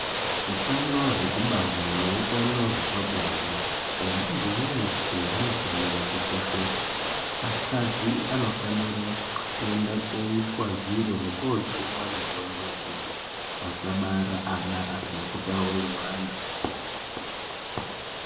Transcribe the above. Utano hwekubara neutano hwepabonde hwemuntu weshe hunofanira kukosheswa akadzi anofanira kuende koiswa zviro nekoojungwa mitombo yekuti asabara ana asina kutaurirwana.